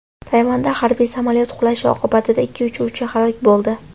Tayvanda harbiy samolyot qulashi oqibatida ikki uchuvchi halok bo‘ldi .